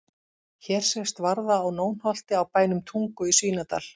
Hér sést varða á Nónholti á bænum Tungu í Svínadal.